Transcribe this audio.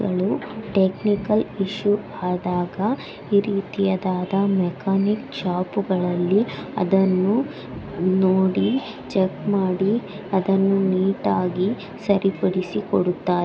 ಗಳು technical issue ಆದಾಗ ಈ ರೀತಿಯಾದ ಮೆಕ್ಯಾನಿಕ್ ಶಾಪ್‌ಗಳಲ್ಲಿ ಅದನ್ನು ನೋಡಿ ಚೆಕ್‌ ಮಾಡಿ ಅದನ್ನು ನೀಟಾಗಿ ಸರಿಪಡಿಸಿ ಕೊಡುತ್ತಾರೆ.